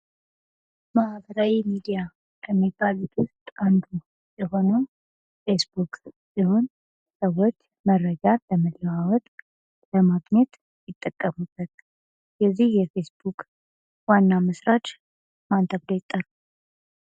ማህበራዊ ሚዲያ ከሚባሉት ውስጥ አንዱ የሆነው ፌስቡክ ሲሆን ሰዎች መረጃ ለመለዋወጥ ለማግኘት ይጠቀሙበታል። የዚህ የፌስቡክ ዋና መስራች ማን ተብሎ ይጠራል?